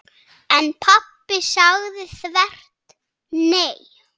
En pabbi sagði þvert nei.